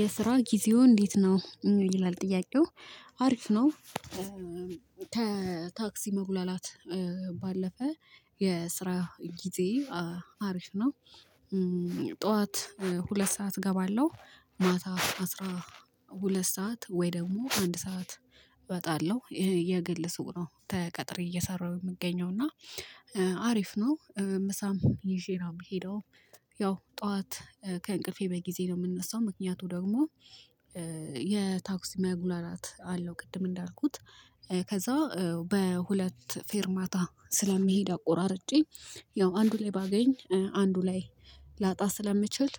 የስራ ጊዜው እንዴት ነው ይላል ጥያቄው? አሪፍ ነው። ከ ታክሲ መጉላላት። ባለፈ የስራ ጊዜ አሪፍ ነው። ጠዋት ሁለት ሰዓት እገባለሁ ማታ አስራ ሁለት ሰዓት ወይ ደግሞ አንድ ሰዓት። እወጣለሁ የግል ስውቅ ነው ተቀጥሬ እየሰራሁ ምገኘው እና። አሪፍ ነው ምሳም ይዤ ነው ምሄደውም። ያው ጠዋት ከእንቅልፌ በጊዜ ነው ምነሳው ምክንያቱ ደግሞ። የታክሲ መጉላላት አለው ቅድም እንዳልኩት ከዛ በሁለት ፌርማታ ስለሚሄድ አቆራርጬ ያው አንዱ ላይ ባገኝ አንዱ ላይ ላጣ ስለምችል።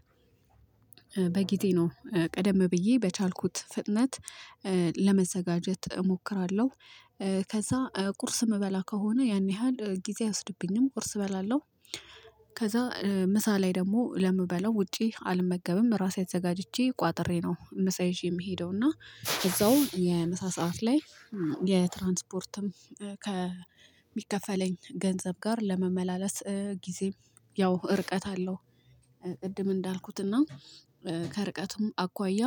በጊዜ ነው ቀደም ብዬ በቻልኩት ፍጥነት ለመዘጋጀት እሞክራለሁ። ከዛ ቁርስ ምበላ ከሆነ ያን ያህል ጊዜ አይወስድበኝም ቁርስ እበላለሁ። ከዛ ምሳ ላይ ደግሞ ለምበለው ውጪ አልመገብም ራሴ አዘጋጅቼ ቋጥሬ ነው። ምሳ ይዜ ምሄደው እና እዛው የምሳ ሰዓት ላይ የትራንስፖርትም ከሚከፈለኝ ገንዘብ ጋር ለመመላለስ ጊዜም ያው እርቀት አለው። ቅድም እንዳልኩትና ከርቀቱም አኳያ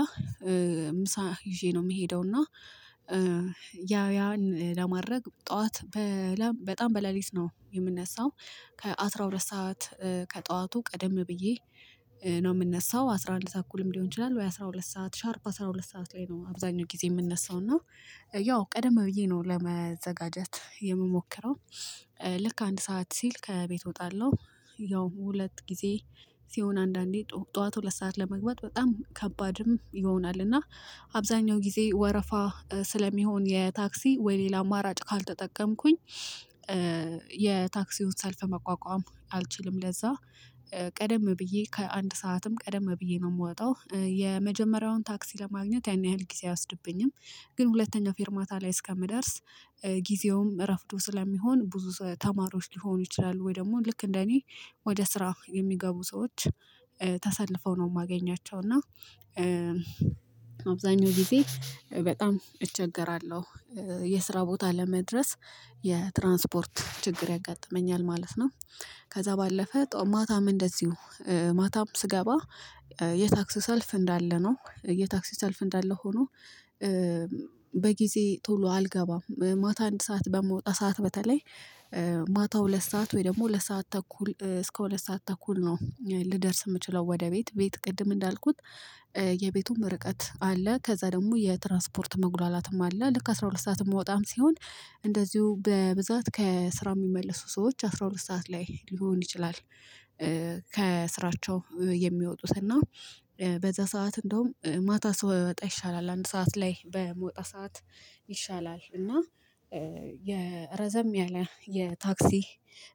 ምሳ ይዤ ነው ምሄደው እና። ያው ያን ለማድረግ ጠዋት በጣም በሌሊት ነው የምነሳው። ከአስራ ሁለት ሰዓት ከጠዋቱ ቀደም ብዬ ነው ምነሳው አስራአንድ ተኩልም ሊሆን ይችላል ወይ አስራሁለት ሰዓት ሻርፕ አስራ ሁለት ሰዓት ላይ ነው አብዛኛው ጊዜ ምነሳው እና። ያው ቀደም ብዬ ነው ለመዘጋጀት የምሞክረው። ልክ አንድ ሰዓት ሲል ከቤት እወጣለሁ ያው ሁለት ጊዜ ሲሆን አንዳንዴ ጠዋት ሁለት ሰዓት ለመግባት በጣም ከባድም ይሆናል። እና አብዛኛው ጊዜ ወረፋ ስለሚሆን የታክሲ ወይ ሌላ አማራጭ ካልተጠቀምኩኝ። የታክሲውን ሰልፍ መቋቋም አልችልም ለዛ ቀደም ብዬ ከአንድ ሰዓትም ቀደም ብዬ ነው ምወጣው የመጀመሪያውን ታክሲ ለማግኘት ያን ያህል ጊዜ አያወስድብኝም። ግን ሁለተኛው ፌርማታ ላይ እስከምደርስ ጊዜውም ረፍዶ ስለሚሆን ብዙ ተማሪዎች ሊሆኑ ይችላሉ ወይ ደግሞ ልክ እንደ እኔ ወደ ስራ የሚገቡ ሰዎች ተሰልፈው ነው ማገኛቸው እና። አብዛኛው ጊዜ በጣም እቸገራለሁ የስራ ቦታ ለመድረስ የትራንስፖርት ችግር ያጋጥመኛል ማለት ነው። ከዛ ባለፈ ጦ ማታም እንደዚሁ ማታም ስገባ የታክሲ ሰልፍ እንዳለ ነው የታክሲ ሰልፍ እንዳለ ሆኖ። በጊዜ ቶሎ አልገባም ማታ አንድ ሰዓት በምወጣ ሰዓት በተለይ ማታው ሁለት ሰዓት ወይ ደግሞ ሁለት ሰዓት ተኩል እስከ ሁለት ሰዓት ተኩል ነው ልደርስ ምችለው ወደ ቤት ቤት ቅድም እንዳልኩት። የቤቱም ርቀት አለ ከዛ ደግሞ የትራንስፖርት መጉላላትም አለ ልክ አስራ ሁለት ሰዓት እምወጣም ሲሆን እንደዚሁ በብዛት ከስራ ሚመልሱ ሰዎች አስራ ሁለት ሰዓት ላይ ሊሆን ይችላል። ከስራቸው የሚወጡት እና በዛ ሰዓት እንደውም ማታ ሰው ባይወጣ ይሻላል አንድ ሰዓት ላይ በመውጣ ሰዓት ይሻላል እና። የረዘም ያለ የታክሲ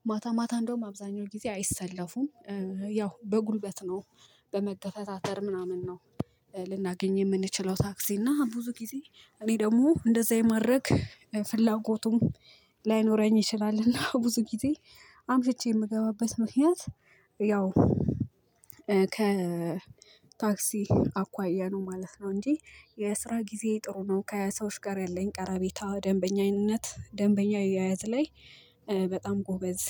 ማታ ማታ እንደውም አብዛኛው ጊዜ አይሰለፉም። ያው በጉልበት ነው በመገፈታተር ምናምን ነው። ልናገኝ የምንችለው ታክሲ እና ብዙ ጊዜ እኔ ደግሞ እንደዛ የማረግ ፍላጎቱም ላይኖረኝ ይችላልና ብዙ ጊዜ አምሽቼ ምገባበት ምክንያት። ያው ከታክሲ አኳያ ነው ማለት ነው። እንጂ የስራ ጊዜየ ጥሩ ነው ከ ሰዎች ጋር ያለኝ ቀረቤታ ደንበኛነት ደንበኛየ አያያዝ ላይ በጣም ጎበዝ።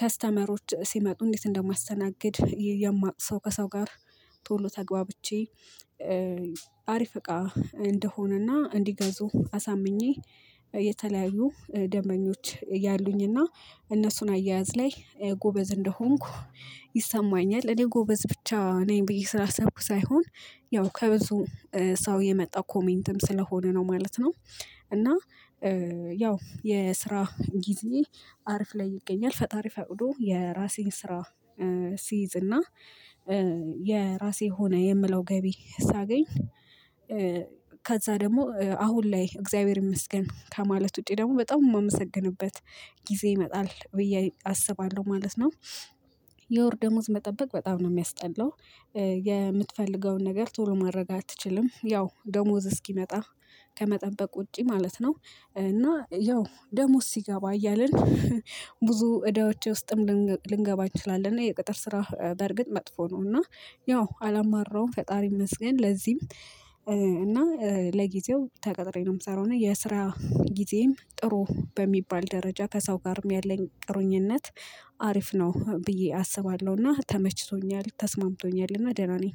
ከስተመሮች ሲመጡ እንዴት እንደማስተናግድ የማቅ ሰው ከሰው ጋር ቶሎ ተግባብቼ። አሪፍ እቃ እንደሆነና እንዲገዙ አሳምኜ የተለያዩ ደንበኞች ያሉኝና እነሱን አያያዝ ላይ ጎበዝ እንደሆንኩ። ይሰማኛል እኔ ጎበዝ ብቻ ነኝ ብዬ ስላሰብኩ ሳይሆን ያው ከብዙ ሰው የመጣው ኮሜንትም ስለሆነ ነው ማለት ነው። እና ያው የስራ ጊዜ አርፍ ላይ ይገኛል ፈጣሪ ፈቅዶ የራሴን ስራ ሲይዝ እና የራሴ ሆነ የምለው ገቢ ሳገኝ። ከዛ ደግሞ አሁን ላይ እግዚአብሔር ይመስገን ከማለት ውጪ ደግሞ በጣም ማመሰግንበት ጊዜ ይመጣል ብዬ አስባለሁ ማለት ነው። የወር ደሞዝ መጠበቅ በጣም ነው ሚያስጠላው። የምትፈልገውን ነገር ቶሎ ማድረግ አትችልም ያው ደሞዝ እስኪመጣ ከመጠበቅ ውጪ ማለት ነው። እና ያው ደሞዝ ሲገባ እያልን ብዙ እዳዎቼ ውስጥም ልንገባ እንችላለን። የቅጥር ስራ በርግጥ መጥፎ ነው እና ያው አላማራውም ፈጣሪ ይመስገን ለዚህም። እና ለጊዜው ተቀጥሬ ነው ምሰራው እና የስራ ጊዜየም ጥሩ በሚባል ደረጃ ከሰው ጋርም ያለኝ ጥሩኝነት አሪፍ ነው ብዬ አስባለሁና ተመችቶኛል ተስማምቶኛልና ደህና ነኝ።